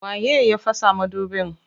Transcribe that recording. Waye ya fasa madubin?